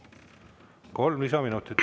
Kolm lisaminutit.